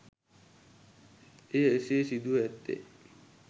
එය එසේ සිදුව ඇත්තේ